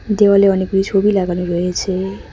দেওয়ালে অনেকগুলি ছবি লাগানো রয়েছে।